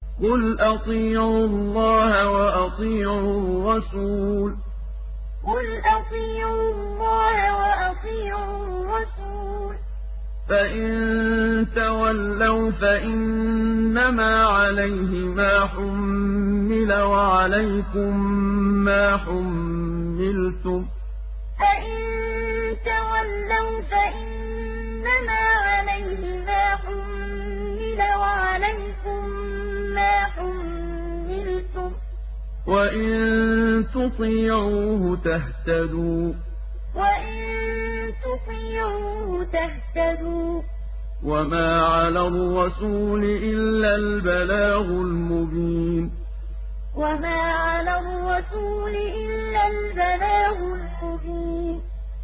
قُلْ أَطِيعُوا اللَّهَ وَأَطِيعُوا الرَّسُولَ ۖ فَإِن تَوَلَّوْا فَإِنَّمَا عَلَيْهِ مَا حُمِّلَ وَعَلَيْكُم مَّا حُمِّلْتُمْ ۖ وَإِن تُطِيعُوهُ تَهْتَدُوا ۚ وَمَا عَلَى الرَّسُولِ إِلَّا الْبَلَاغُ الْمُبِينُ قُلْ أَطِيعُوا اللَّهَ وَأَطِيعُوا الرَّسُولَ ۖ فَإِن تَوَلَّوْا فَإِنَّمَا عَلَيْهِ مَا حُمِّلَ وَعَلَيْكُم مَّا حُمِّلْتُمْ ۖ وَإِن تُطِيعُوهُ تَهْتَدُوا ۚ وَمَا عَلَى الرَّسُولِ إِلَّا الْبَلَاغُ الْمُبِينُ